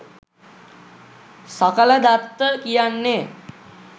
සකලදත්ත කියන්නේ